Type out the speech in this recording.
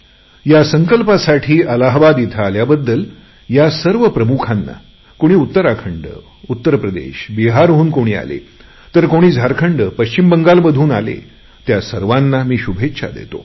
या संकल्पासाठी अलाहाबाद इथे आल्याबद्दल या सर्व प्रमुखांना कोणी उत्तराखंड उत्तर प्रदेश बिहारहून कोणी आले तर कोणी झारखंड पश्चिम बंगालमधून आले त्या सर्वांना मी शुभेच्छा देतो